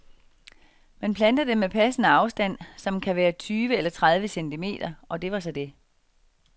Man planter dem med passende afstand, som kan være tyve eller tredive centimeter, og det var så det.